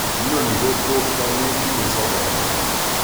Inoni kokotko metinye sobodo?